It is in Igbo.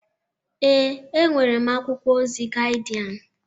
Ee, enwere m akwụkwọ ozi Gaịdịan